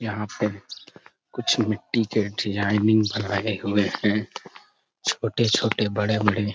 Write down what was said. यहां पे कुछ मिट्टी के डिजाइनिंग बनाए हुए हैं छोटे-छोटे बड़े-बड़े --